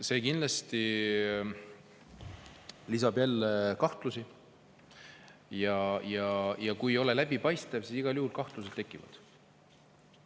See kindlasti lisab jälle kahtlusi ja kui ei ole läbipaistev, siis igal juhul kahtlused tekivad.